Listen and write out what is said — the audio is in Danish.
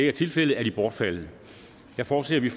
er tilfældet er de bortfaldet jeg forudser at vi